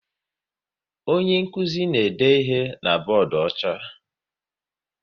Onye nkụzi na-ede ihe na bọọdụ ọcha